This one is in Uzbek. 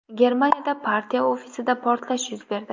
Germaniyada partiya ofisida portlash yuz berdi.